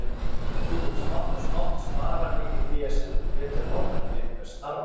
Þú munt smátt og smátt spara mikið fé, sem þú getur notað til einhvers þarfara.